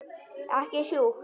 Ekki sjúkt.